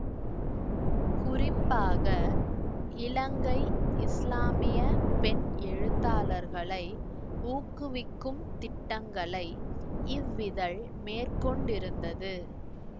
குறிப்பாக இலங்கை இசுலாமிய பெண் எழுத்தாளர்களை ஊக்குவிக்கும் திட்டங்களை இவ்விதழ் மேற்கொண்டிருந்தது